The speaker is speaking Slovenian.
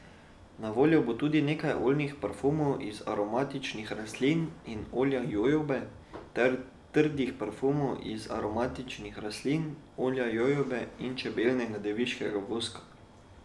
Na voljo bo tudi nekaj oljnih parfumov iz aromatičnih rastlin in olja jojobe ter trdih parfumov iz aromatičnih rastlin, olja jojobe in čebeljega deviškega voska.